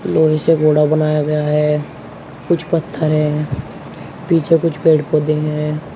लोहे से घोड़ा बनाया गया है कुछ पत्थर है पीछे कुछ पेड़ पौधे हैं।